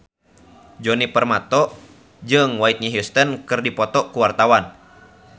Djoni Permato jeung Whitney Houston keur dipoto ku wartawan